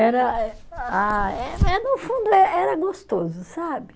Era ah, eh eh no fundo é, era gostoso, sabe?